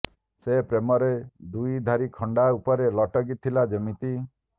ସେ ପ୍ରେମରେ ଦୁଇଧାରୀ ଖଣ୍ଡା ଉପରେ ଲଟକି ଥିଲା ଯେମିତି